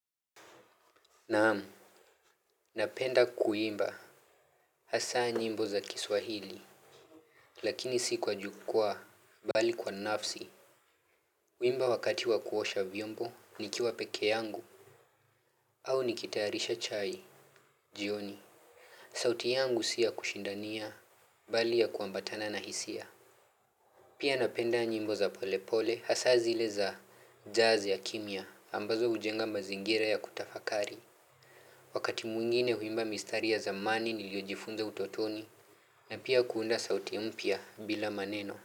Naam, napenda kuimba hasa nyimbo za kiswahili, lakini si kwa jukwaa, bali kwa nafsi. Huimba wakati wa kuosha vyombo, nikiwa pekee yangu, au nikitayarisha chai, jioni. Sauti yangu si ya kushindania, bali ya kuambatana na hisia. Pia napenda nyimbo za polepole, hasa zile za jazz ya kimya, ambazo hujenga mazingira ya kutafakari. Wakati mwingine huimba mistari ya zamani niliyojifunza utotoni na pia kuunda sauti mpya bila maneno.